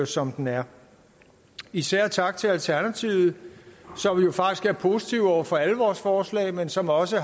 som den er især tak til alternativet som faktisk er positive over for alle vores forslag men som også